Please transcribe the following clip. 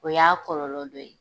O y'a kɔlɔlɔ dɔ ye.